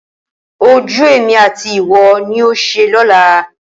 Ojú èmi àti ìwọ ni yóò ṣe lọ́la.